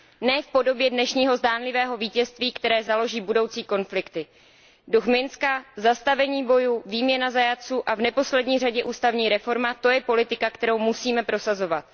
Ne v podobě dnešního zdánlivého vítězství, které založí budoucí konflikty. Duch Minska, zastavení bojů, výměna zajatců a v neposlední řadě ústavní reforma, to je politika, kterou musíme prosazovat.